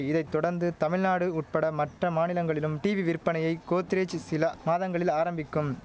இதை தொடந்து தமிழ்நாடு உட்பட மற்ற மாநிலங்களிலும் டீவி விற்பனையை கோத்ரேஜ் சில மாதங்களில் ஆரம்பிக்கும்